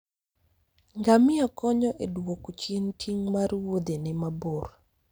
Ngamia konyo e duoko chien ting' mar wuodhene mabor.